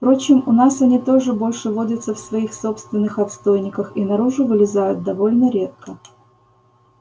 впрочем у нас они тоже больше водятся в своих собственных отстойниках и наружу вылезают довольно редко